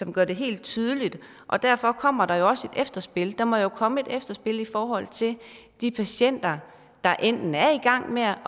gør det helt tydeligt derfor kommer der jo også et efterspil der må jo komme et efterspil i forhold til de patienter der enten er i gang med at